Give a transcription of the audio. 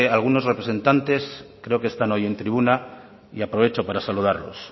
algunos representantes creo que están hoy en tribuna y aprovecho para saludarlos